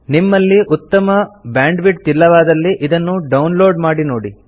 ನಿಮ್ಮಲ್ಲಿ ಉತ್ತಮ ಬ್ಯಾಂಡ್ವಿಡ್ತ್ ಇಲ್ಲವಾದಲ್ಲಿ ಇದನ್ನು ಡೌನ್ ಲೋಡ್ ಮಾಡಿ ನೋಡಿ